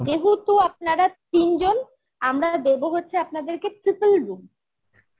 যেহেতু আপনারা তিনজন আমরা দেবো হচ্ছে আপনাদেরকে triple room